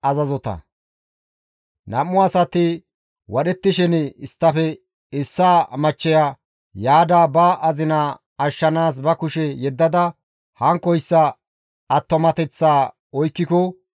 Nam7u asati wadhettishin isttafe issaa machcheya yaada ba azina ashshanaas ba kushe yeddada hankkoyssa attumateththa oykkiko,